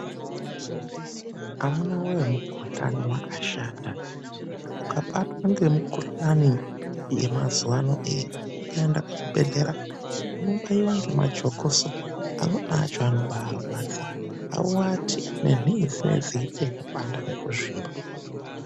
Amuna woye mukhuhlani wakashata. Ukabatwa ngemukhuhlani yemazuwa ano iyi ukaenda kuchibhehlera unobaiwa ngemajokoso, amweni acho anobaarwadza. Auati, nenhii dzinenge dzeiita kupanda nekuzvimba .